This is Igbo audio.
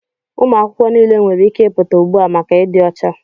Ụmụ akwụkwọ niile nwere ike ịpụta ugbu a maka ịdị ọcha!